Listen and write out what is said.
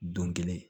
Don kelen